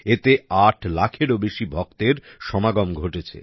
এতে ৮ লাখেরও বেশি ভক্তের সমাগম ঘটেছে